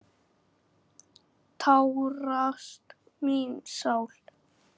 Tárast mín sál.